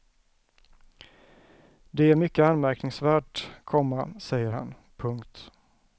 Det är mycket anmärkningsvärt, komma säger han. punkt